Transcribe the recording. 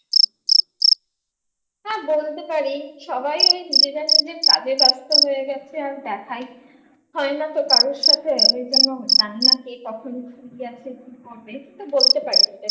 হ্যাঁ বলতে পারি সবাই ওই যে যার নিজের কাজে ব্যস্ত হয়ে গেছে আর দেখাই হয় না তো কারোর সাথে ওই জন্য জানিনা কে কখন free আছে কি করবে বলতে পারি